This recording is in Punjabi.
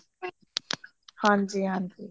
ਹਾਂਜੀ ਹਾਂਜੀ